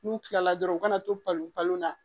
N'u kilala dɔrɔn u kana to balon na